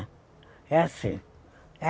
É assim.